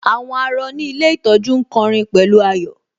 Àwọn àárọ̀ ní ilé ìtọ́jú ń kọ'rin pẹ̀lú ayọ̀